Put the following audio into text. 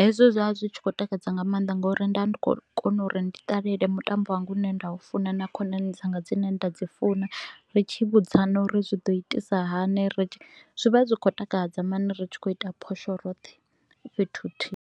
Hezwo zwa zwi tshi kho u takadza nga maanḓa nga u ri nda ndi kho u kona uri ndi ṱalele mutambo wanga u ne nda u funa na khonani dzanga dzine nda dzi funa. Ri tshi vhudzana uri zwi ḓo itisa hani, ri tshi vha zwi vha zwi kho u takadza mani ri tshi kho u ita phosho roṱhe fhethu huthihi.